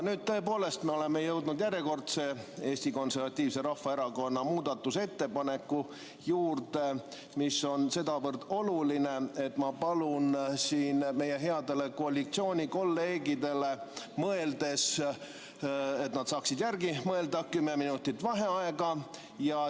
Nüüd tõepoolest oleme jõudnud järjekordse Eesti Konservatiivse Rahvaerakonna muudatusettepaneku juurde, mis on sedavõrd oluline, et ma palun meie headele koalitsioonikolleegidele mõeldes, laskmaks neil järele mõelda, kümme minutit vaheaega.